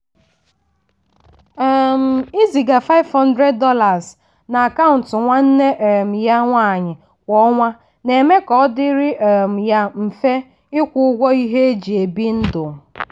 um ịziga $500 na akaụntụ nwanne um ya nwanyi kwa ọnwa na-eme ka ọ dịrị um ya mfe ịkwụ ụgwọ ihe eji ebi ndụ.